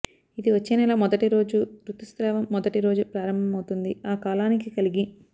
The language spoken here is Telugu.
ఇది వచ్చే నెల మొదటి రోజు ఋతుస్రావం మొదటి రోజు ప్రారంభమవుతుంది ఆ కాలానికి కలిగి